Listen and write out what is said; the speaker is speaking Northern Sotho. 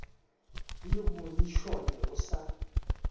le bongi šole o sa